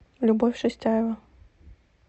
любовь шестяева